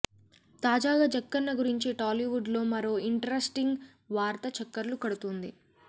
తాజాగా జక్కన్న గురించి టాలీవుడ్ లో మరో ఇంట్రస్టింగ్ వార్త చక్కర్లు కొడుతోంది